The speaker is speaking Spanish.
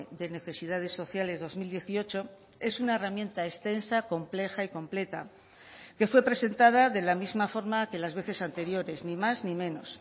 de necesidades sociales dos mil dieciocho es una herramienta extensa compleja y completa que fue presentada de la misma forma que las veces anteriores ni más ni menos